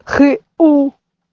х у